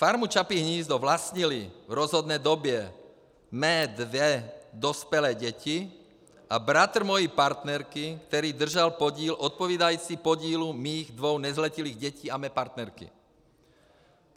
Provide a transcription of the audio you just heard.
Farmu Čapí hnízdo vlastnily v rozhodné době mé dvě dospělé děti a bratr mojí partnerky, který držel podíl odpovídající podílu mých dvou nezletilých dětí a mé partnerky.